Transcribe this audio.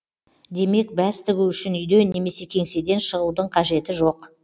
демек бәс тігу үшін үйден немесе кеңседен шығудын қажеті жоқ